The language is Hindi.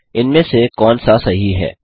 इनमें से कौन सा सही है